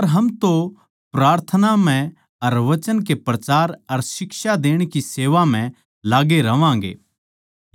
पर हम तो प्रार्थना म्ह अर वचन के प्रचार अर शिक्षा देण की सेवा म्ह लाग्गे रहवांगें